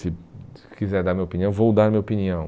Se se quiser dar minha opinião, vou dar minha opinião.